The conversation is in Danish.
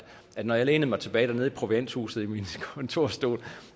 når jeg lænede mig tilbage dernede i provianthuset i min kontorstol